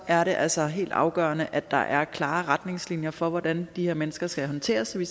er det altså helt afgørende at der er klare retningslinjer for hvordan de her mennesker skal håndteres så vi